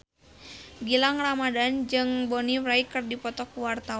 Gilang Ramadan jeung Bonnie Wright keur dipoto ku wartawan